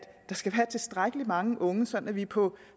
have tilstrækkelig mange unge så vi på